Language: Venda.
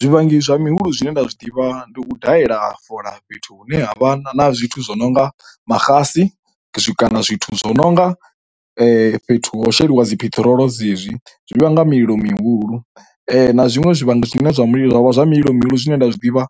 Zwivhangi zwa mihulu zwine nda zwi ḓivha ndi u dalela fola fhethu hune ha vha na zwithu zwi nonga maxasi zwi kana zwithu zwo nonga fhethu ho sheliwa dzipheṱhirolo dzi hezwi zwi vhanga mililo mihulu, na zwiṅwe zwine zwavha zwa mililo mihulu zwine nda zwiḓivha